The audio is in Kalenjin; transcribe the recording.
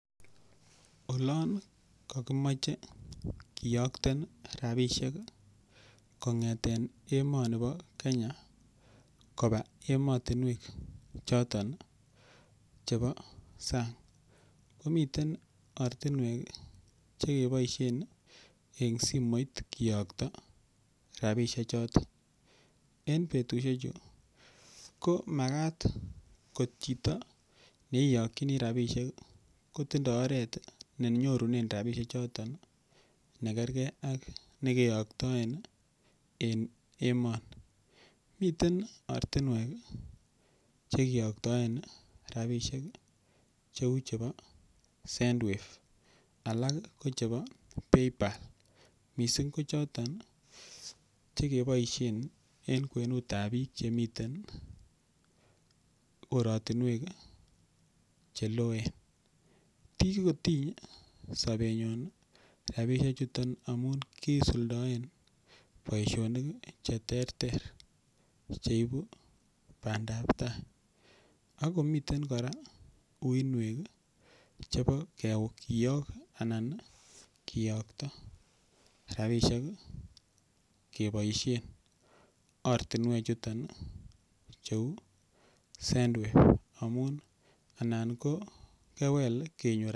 Olon kokimoche kiyokten rabisiek kongeten emoni bo Kenya koba emotinwek choton chebo sang komiten ortinwek Che keboisien eng simoit kiyokto rabisiechoto en betusiechu ko Makat ko chito ne iyokyini rabisiek ko tindoi oret ne nyorunen rabisiek choton nekerge ak nekeyoktoen en emoni miten ortinwek Che kiyokten rabisiek cheu chebo send wave alak ko chebo PayPal mising ko choton Che keboisien en kwenut ab bik chemiten korotinwek Che loen kigotiny sobenyun rabisiechuto amun kisuldaen boisionik Che terter Che ibu bandap tai ak komiten kora uinwek chebo kiyok anan kiyokto rabisiek keboisien ortinwechuton cheu send wave amun